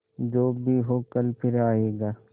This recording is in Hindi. जो भी हो कल फिर आएगा